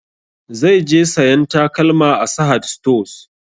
Zai je sayan takalma a sahad stores